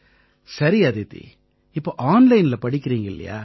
சரி அதிதி இப்ப ஆன்லைன்ல படிக்கறீங்க இல்லையா